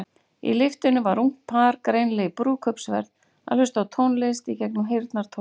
Í lyftunni var ungt par, greinilega í brúðkaupsferð, að hlusta á tónlist gegnum heyrnartól.